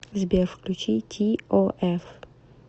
сбер включи ти о эф